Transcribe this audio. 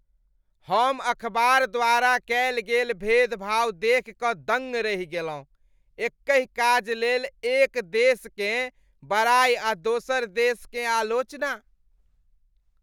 हम अखबार द्वारा कयल गेल भेदभाव देखि कऽ दंग रहि गेलहुँ, एकहि काज लेल एक देशकेँ बड़ाई आ दोसर देशकेँ आलोचना।